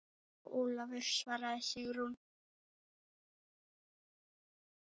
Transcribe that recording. Já, Ólafur svaraði Sigrún.